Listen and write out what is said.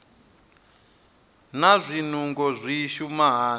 naa zwinungo zwi shuma hani